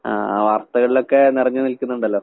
ആഹ് വർത്തകളിലൊക്കെ നെറഞ്ഞ് നിൽക്ക്ന്നിണ്ടല്ലോ.